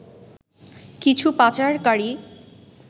কিছু পাচারকারী